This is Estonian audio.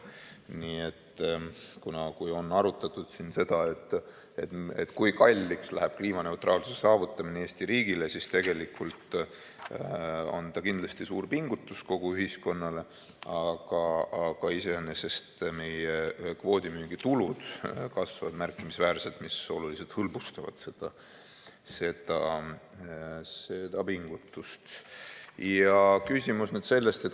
Nii et kui on arutatud siin seda, kui kalliks läheb kliimaneutraalsuse saavutamine Eesti riigile, siis tegelikult on see kindlasti suur pingutus kogu ühiskonnale, aga meie kvoodimüügi tulud kasvavad märkimisväärselt ja see oluliselt hõlbustab seda pingutust.